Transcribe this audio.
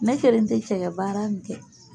Ne kelen tɛ cɛkɛ baara nin kɛ.